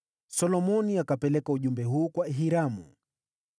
Solomoni akapeleka ujumbe huu kwa Hiramu: